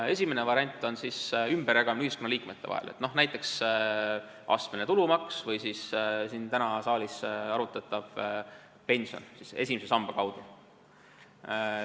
Esimene variant on ümberjagamine ühiskonnaliikmete vahel, näiteks astmelise tulumaksu või siis täna siin saalis arutatava pensioni esimese samba kaudu.